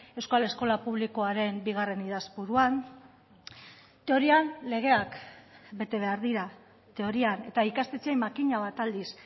euskal eskola publikoaren bigarren idazpuruan teorian legeak bete behar dira teorian eta ikastetxeei makina bat aldiz